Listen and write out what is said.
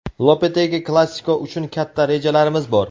Lopetegi: Klasiko uchun katta rejalarimiz bor.